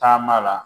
Taama la